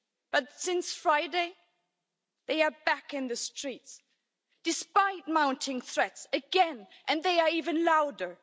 But since Friday, they are back in the streets, despite mounting threats, again and they are even louder.